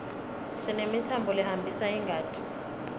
sinemitsambo lehambisa ingati